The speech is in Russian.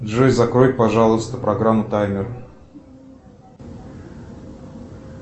джой закрой пожалуйста программу таймер